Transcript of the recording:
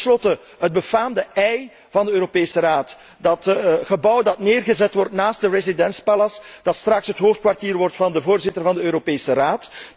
Ten slotte, het befaamde Ei van de Europese Raad, dat gebouw dat neergezet wordt naast de Résidence Palace, dat straks het hoofdkwartier wordt van de voorzitter van de Europese Raad.